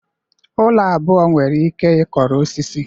Ụlọ abụọ nwere ike ịkọrọ osisi